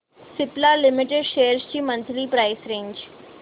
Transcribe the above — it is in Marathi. सिप्ला लिमिटेड शेअर्स ची मंथली प्राइस रेंज